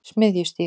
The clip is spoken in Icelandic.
Smiðjustíg